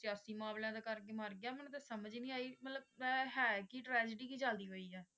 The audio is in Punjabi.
ਸਿਆਸੀ ਮਾਮਲਿਆਂ ਦੇ ਕਰਕੇ ਮਰ ਗਿਆ ਮੈਨੂੰ ਤੇ ਸਮਝ ਹੀ ਨਹੀਂ ਆਈ ਮਤਲਬ ਹੈ ਕਿ ਹੈ ਕਿ tragedy ਕੀ ਚੱਲਦੀ ਪਈ ਹੈ?